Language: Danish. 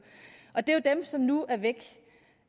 og det er jo dem som nu er væk